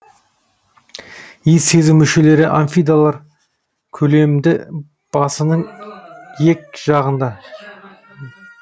иіс сезу мүшелері амфидалар көлемді басының ек жағында